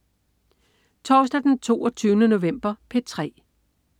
Torsdag den 22. november - P3: